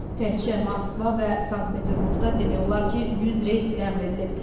Təkcə Moskva və Sankt-Peterburqda demək olar ki, 100 reys ləğv edilib.